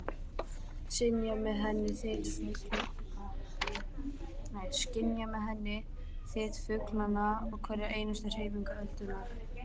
Skynja með henni þyt fuglanna og hverja einustu hreyfingu öldunnar.